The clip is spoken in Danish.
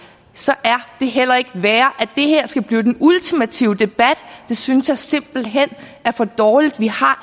så er det heller ikke værre altså at det her skal blive den ultimative debat det synes jeg simpelt hen er for dårligt vi